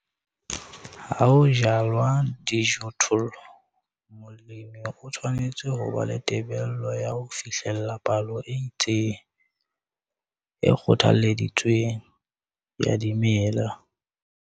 Ha ho jalwa dijothollo, molemi o tshwanetse ho ba le tebello ya ho fihlella palo e itseng, e kgothaleditsweng, ya dimela.